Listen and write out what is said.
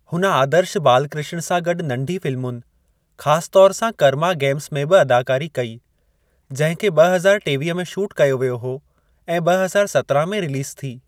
हुन आदर्श बालकृष्ण सां गॾु नंढी फ़िल्मुनि, ख़ास तौर सां कर्मा गेम्स में बि अदाकारी कई, जंहिं खे ॿ हज़ार टेवीह में शूट कयो वियो हो ऐं ॿ हज़ार सत्राहं में रिलीज़ थी।